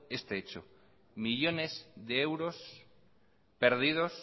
este hecho millones de euros perdidos